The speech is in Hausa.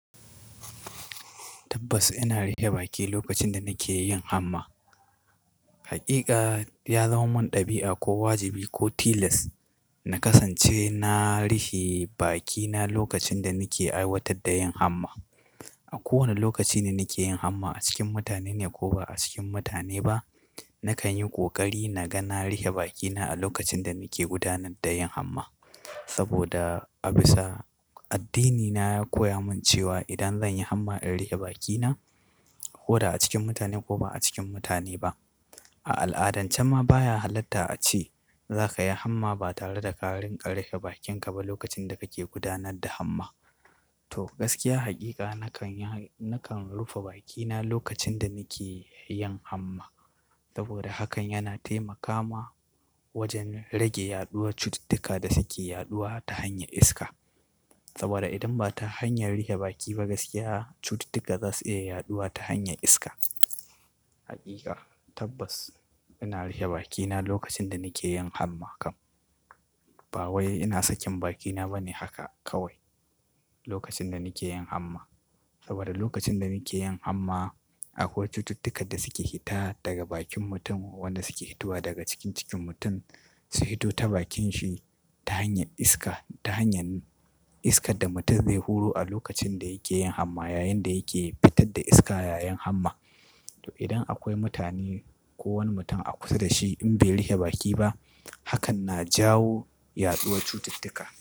Tabbas ina riƙe baki lokacin da nake yin hamma. Hakika ya zama mun ɗabi'a ko wajibi ko tilas na kasance na rihe bakina lokacin da nake aiwatar da yin hamma. A kowane lokaci da nake yin hamma a cikin mutane ne ko ba a cikin mutane ba, nakan yi ƙoƙari na gana rihe bakina a lokacin da nake gudanar da yin hamma. Saboda a bisa addinina ya koya mun cewa idan zan yi hamma in rihe bakina ko da a cikin mutane ko ba a cikin mutane ba. A al'adance ma baya halatta a ce za ka yi hamma ba tare da ƙa rinƙa rihe bakinka ba lokacin da kake gudanar da hamma. To gaskiya hakika nakan, nakan rufe bakina lokacin da nake yin hamma. Saboda hakan yana taimaka ma wajen rage yaɗuwar cututtuka da suke yaɗuwa ta hanyar iska. Saboda idan ba ta hanyar rihe baki ba gaskiya cututtuka za su iya yaɗuwa ta hanyar iska. Hakika tabbas ina riƙe bakina lokacin da nake yin hamma kam. Ba wai ina sakin bakina bane haka kawai lokacin da nake yin hamma. Saboda lokacin da nake yin hamma akwai cututtukan da suke hita daga bakin mutum wanda suke hitowa daga cikin cikin mutum su hito ta bakin shi ta hanyar iska, ta hanyar iskar da mutum zai huro a lokacin da yake yin hamma yayin da yake fitar da iska yayin hamma. To idan akwai mutane ko wani mutum a kusa da shi in bai riƙe baki ba hakan na jawo yaɗuwar cututtuka.